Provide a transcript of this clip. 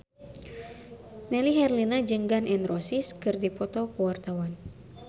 Melly Herlina jeung Gun N Roses keur dipoto ku wartawan